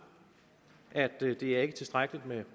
det er ikke tilstrækkeligt med